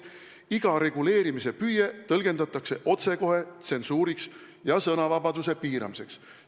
Iga reguleerimise püüe tõlgitakse otsekohe tsensuuriks ja sõnavabaduse ohustamiseks.